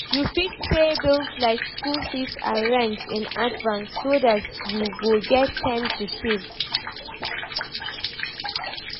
You fit pay bills like school fees and rent in advance so dat you go get time to save